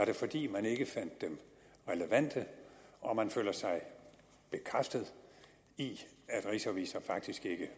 det fordi man ikke fandt dem relevante og man føler sig bekræftet i at rigsrevisor faktisk ikke